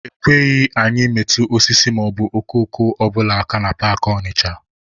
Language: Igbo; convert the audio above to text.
E kweghị anyị metụ osisi maọbụ okooko ọ bụla aka na paakị Ọnịcha.